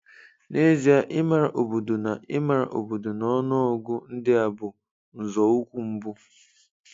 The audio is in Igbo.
N'ezie, ịmara obodo na ịmara obodo na ọnụ ọgụgụ ndị a bụ nzọụkwụ mbụ